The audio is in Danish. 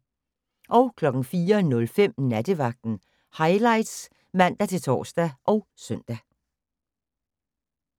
04:05: Nattevagten Highlights (man-tor og søn)